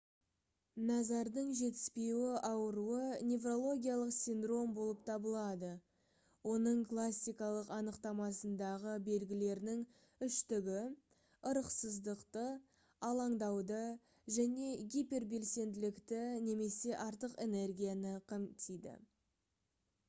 назардың жетіспеуі ауруы «неврологиялық синдром болып табылады. оның классикалық анықтамасындағы белгілерінің үштігі ырықсыздықты алаңдауды және гипербелсенділікті немесе артық энергияны қамтиды»